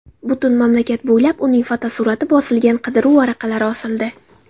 Butun mamlakat bo‘ylab uning fotosurati bosilgan qidiruv varaqalari osildi.